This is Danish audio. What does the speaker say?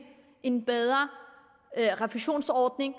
en bedre refusionsordning